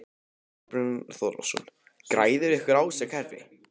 Þorbjörn Þórðarson: Græðir einhver á þessu kerfi?